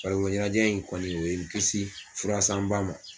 Farikolo ɲɛnajɛ in kɔni o ye in kisi furasanba ma.